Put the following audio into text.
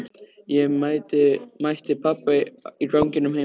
Ég mætti pabba í ganginum heima.